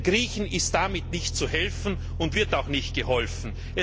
Den Griechen ist damit nicht zu helfen und wird auch nicht geholfen.